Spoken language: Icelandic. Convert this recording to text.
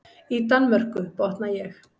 Í Danmörku, botna ég.